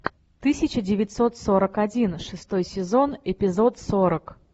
тысяча девятьсот сорок один шестой сезон эпизод сорок